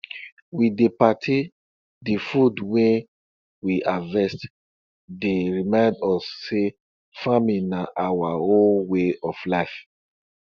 we dey party de food wey we harvest dey remind us say farming na our whole way of life